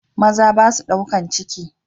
Maza basua ɗaukan ciki.